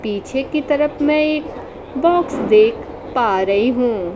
पीछे की तरफ मैं एक बॉक्स देख पा रही हूं।